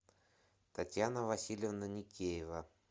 татьяна васильевна никеева